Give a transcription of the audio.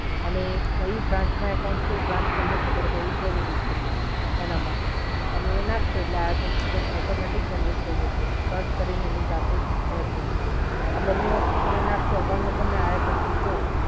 અને કઈ branch મા account છે એ તમને ખબર હોવી જોઈએ. તમે એ નાખશો એટલે